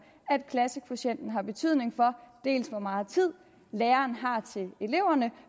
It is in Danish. at klassekvotienten har betydning for dels hvor meget tid lærerne har til eleverne